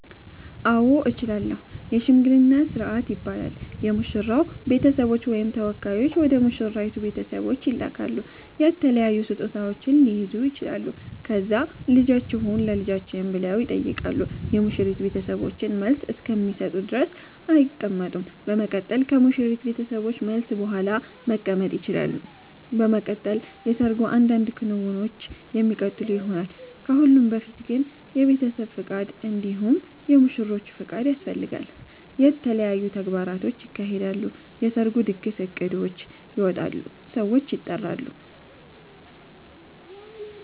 አዎ እችላለሁ የሽምግልና ስርአት ይባላል የሙሽራዉ ቤተሰቦች ወይም ተወካዮች ወደ ሙሽራይቱ ቤተሰቦች ይላካሉ የተለያዩ ስጦታዉች ሊይዙ ይችላሉ ከዛ ልጃችሁን ለልጃችን ብለዉ ይጠይቃሉ የሙሽሪት ቤተሰቦችን መልስ እስከሚሰጡ ድረስ አይቀመጡም በመቀጠል ከሙሽሪት ቤተሰቦች መልስ ቡሃላ መቀመጥ ይቸላሉ። በመቀጠል የሰርጉ አንዳንድ ክንዉኖች የሚቀጥሉ ይሆናል። ከሁሉም በፊት ግን የቤተሰብ ፍቃድ እንዲሁም የሙሽሮቹ ፍቃድ ያስፈልጋል። የተለያዩ ተግባራቶች ይካሄዳሉ የሰርጉ ድግስ እቅዶች ይወጣሉ ሰዎች ይጠራሉ